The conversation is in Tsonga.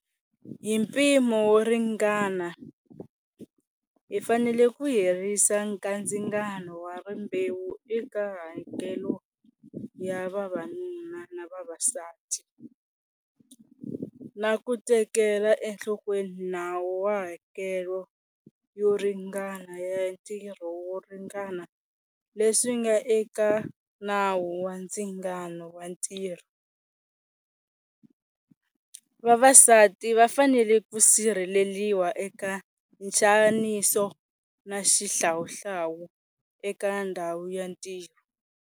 Hi mpimo wo ringana, hi fanele ku herisa kandzingano wa rimbewu eka hakelo ya vavanuna na vavasati, na ku teketela enhlokweni nawu wa hakelo yo ringana ya ntirho wo ringana leswi nga eka Nawu wa Ndzingano wa Ntirho. Vavasati va fanele ku sirheleriwa eka nxaniso na xihlawuhlawu eka ndhawu ya ntirho.